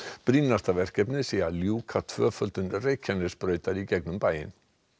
brýnasta verkefnið sé að ljúka tvöföldun Reykjanesbrautar í gegnum bæinn